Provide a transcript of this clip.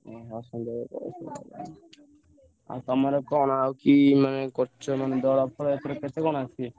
ଓହୋ ସନ୍ଧ୍ୟା ବେଳକୁ ଆଉ ତମର କଣ ମାନେ କି ମାନେ କରିଛ ମାନେ ଦଳ ଫଳ ?